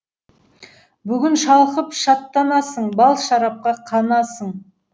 бүгін шалқып шаттанасың бал шарапқа қанасың